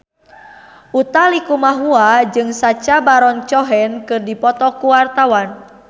Utha Likumahua jeung Sacha Baron Cohen keur dipoto ku wartawan